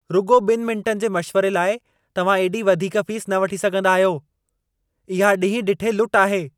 रुॻो ॿिनि मिंटनि जे मशिवरे लाइ तव्हां एॾी वधीक फीस न वठी सघंदा आहियो। इहा ॾींह ॾिठे लुट आहे।